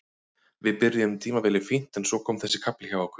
Við byrjuðum tímabilið fínt en svo kom þessi kafli hjá okkur.